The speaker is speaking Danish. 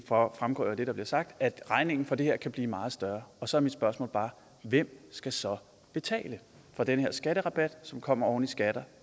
fremgår af det der bliver sagt at regningen for det her kan blive meget større og så er mit spørgsmål bare hvem skal så betale for den her skatterabat som kommer oven i skatter